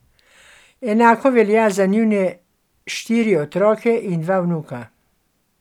Enako velja za njune štiri otroke in dva vnuka.